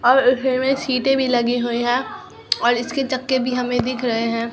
और इसमें सीटे भी लगी हुई हैं और इसके चक्के भी हमें दिख रहे हैं।